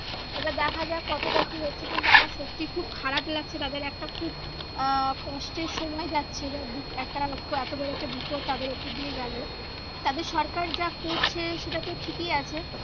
এবার দেখা যাক কতটা কি হচ্ছে কিন্তু আমার সত্যি খুব খারাপ লাগছে তাদের একটা খুব আহ কষ্টের সময় যাচ্ছে বা একটা এতো বড়ো একটা বিপদ তাদের ওপর দিয়ে গেলো তাদের সরকার যা করছে সেটা তো ঠিকই আছে।